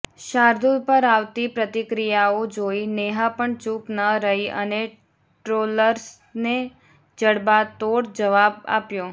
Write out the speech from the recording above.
શાર્દૂલ પર આવતી પ્રતિક્રિયાઓ જોઈ નેહા પણ ચૂપ ન રહી અને ટ્રોલર્સને જડબાતોડ જવાબ આપ્યો